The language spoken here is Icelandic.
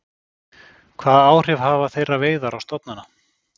Hvaða áhrif hafa þeirra veiðar á stofnana?